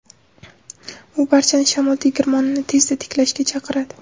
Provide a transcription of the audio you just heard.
U barchani shamol tegirmonini tezda tiklashga chaqiradi.